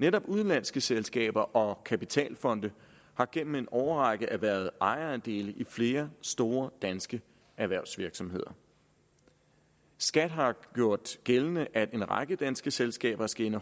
netop udenlandske selskaber og kapitalfonde har gennem en årrække erhvervet ejerandele i flere store danske erhvervsvirksomheder skat har gjort gældende at en række danske selskaber skal